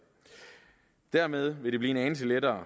dermed vil det blive en anelse lettere